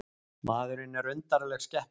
Maðurinn er undarleg skepna.